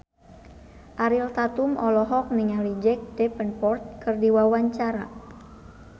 Ariel Tatum olohok ningali Jack Davenport keur diwawancara